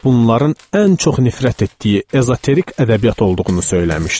Bunların ən çox nifrət etdiyi ezoterik ədəbiyyat olduğunu söyləmişdi.